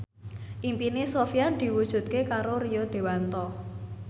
impine Sofyan diwujudke karo Rio Dewanto